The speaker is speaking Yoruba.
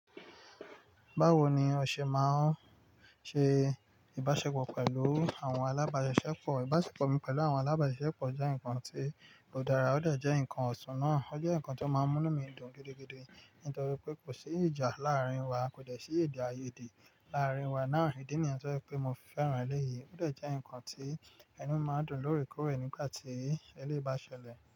Báwo ni o ṣe máa ń ṣe ìbáṣepọ̀ pẹ̀lú àwọn alábáṣiṣẹ́pọ̀? Ìbáṣepọ̀ mi pẹ̀lú àwọn alábáṣiṣẹ́pọ̀ jẹ́ nǹkan tí kò dára, ó dẹ̀ jẹ́ ǹkan ọ̀ṣún náà. Ó jẹ́ ǹkan tó máa ń mú nù mí dùn gidigidi nítorí pé kò sí ìjà láàárín wa, kò dẹ̀ sí èdè àìyèdè láàárín wa náà. Ìdí nìyẹn tó jẹ́ pé mo fi fẹ́ràn eléyìí. Ó dẹ̀ jẹ́ ǹkan tí ẹnu máa ń dùn lóòrèkoore nígbà tí eléyìí bá ṣẹlẹ̀.